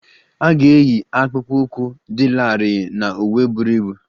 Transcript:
A ga-eyi akpụkpọ ụkwụ dị larịị na uwe buru ibu